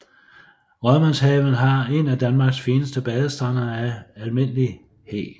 Rådmandshaven har en af Danmarks fineste bestande af almindelig hæg